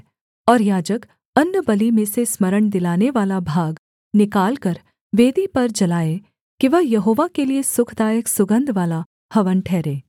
और याजक अन्नबलि में से स्मरण दिलानेवाला भाग निकालकर वेदी पर जलाए कि वह यहोवा के लिये सुखदायक सुगन्धवाला हवन ठहरे